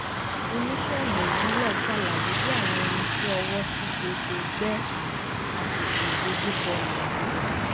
oníṣẹ́ ọnà ìbílẹ̀ ṣàlàyé bí àwọn irinṣẹ́ ọwọ́ ṣíṣe ṣe gbẹ́ àsìkò ìdojúkọ yìnyín